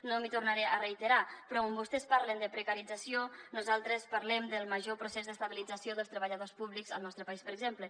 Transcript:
no m’hi tornaré a reiterar però on vostès parlen de precarització nosaltres parlem del major procés d’estabilització dels treballadors públics al nostre país per exemple